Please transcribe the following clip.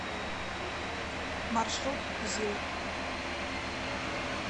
маршрут зил